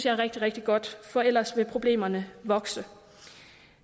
er rigtig rigtig godt for ellers vil problemerne vokse